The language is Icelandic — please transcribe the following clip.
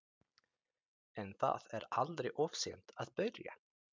En það er aldrei of seint að byrja.